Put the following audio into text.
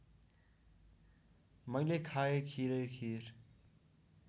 मैले खाँए खिरैखिर